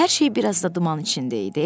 Hər şey bir az da duman içində idi.